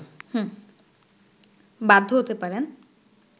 বাধ্য হতে পারেন